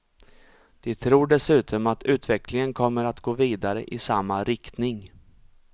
De tror dessutom att utvecklingen kommer att gå vidare i samma riktning.